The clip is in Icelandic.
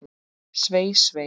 Svei, svei.